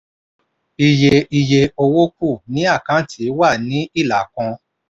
iye iye owó kù ní àkáǹtì wà ní ilà kan.